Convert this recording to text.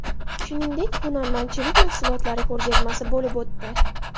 Shuningdek hunarmandchilik mahsulotlari ko‘rgazmasi bo‘lib o‘tdi.